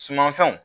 Sumanfɛnw